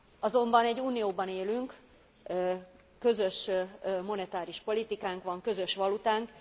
Azonban egy Unióban élünk, közös monetáris politikánk van, közös valutánk.